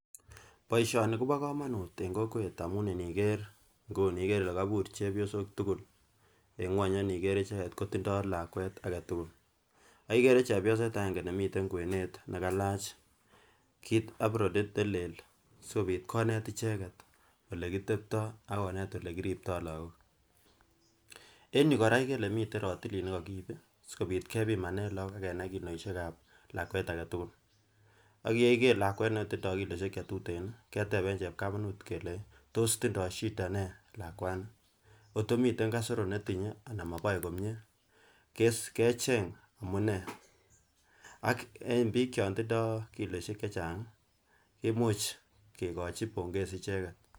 Boishoni Kobo komonut en kowet amun inkere Nguni ikere Ile koimur chepyosok tukul en ngueny AK iniker icheket kotindoi lakwet agetukul ak ikere chepyoset agenge nemiten kwenet nekailach kit apronit nelel sikobit konet icheket ole kite pto akotet ole kirupto lokok. En yuu Koraa ikere Ile miten rotilit nekokiib sikobit kepimanen lokwet akenai kiloishet ak lakwet agetukul ak yekikere lakwet netindoi kiloishet chetuten keteben chepkamatut kelenji tos tindoi shida nee lakwani koto miten kasoro netinye anan ko moboe komie kecheng amunee, ak en bik chon tindoi kiloishek chechangi kimuch kikochi bongezi icheket.